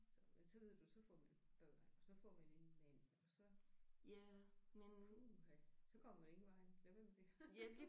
Så men så ved du så får vi børn og så får vi en anden mand og så puh ha så kommer man ingen vegne med hvad man vil